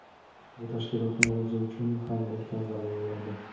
bu tashkilotning o‘zi uchun ham ulkan g‘alaba bo‘lardi.